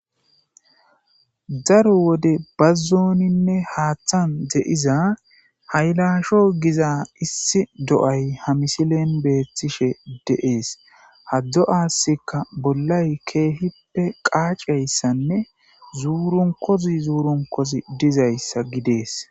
daro wode bazzooninne haaththan de7iza haylaasho giza issi do7ay ha misilen beethtishe deees haddo7asika bollay keehippe qaacayssanne zuurunkozi zuurunkozi dizayssa gidees